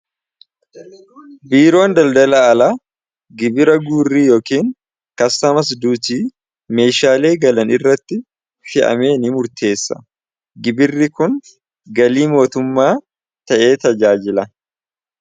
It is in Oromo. Biiroon daldala alaa gibira guurrii yookiin kassamas duutii meeshaalee galan irratti fi'amee ni murteessa gibirri kun galii mootummaa ta'ee tajaajila.